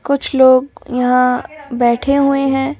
कुछ लोग यहां बैठे हुए हैं ।